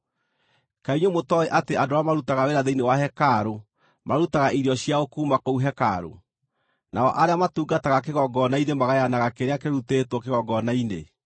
Kaĩ inyuĩ mũtooĩ atĩ andũ arĩa marutaga wĩra thĩinĩ wa hekarũ marutaga irio ciao kuuma kũu hekarũ, nao arĩa matungataga kĩgongona-inĩ magayanaga kĩrĩa kĩrutĩtwo kĩgongona-inĩ?